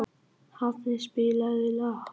Hafni, spilaðu lag.